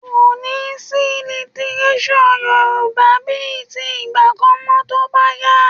Kò ní sí lítíréṣọ̀ Yorùbá bíi ti ìgbà kan mọ́ tó bá yá